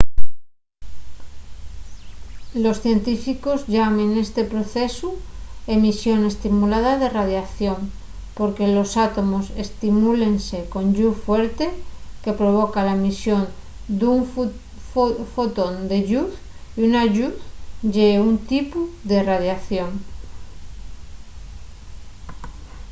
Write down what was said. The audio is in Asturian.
los científicos llamen esti procesu emisión estimulada de radiación” porque los átomos estimúlense con lluz fuerte que provoca la emisión d'un fotón de lluz y la lluz ye un tipu de radiación